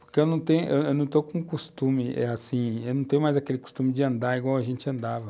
Porque eu tenho, eu não estou com o costume, é assim, eu não tenho mais aquele costume de andar igual a gente andava.